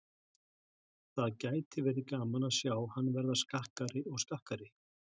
Það gæti verið gaman að sjá hann verða skakkari og skakkari.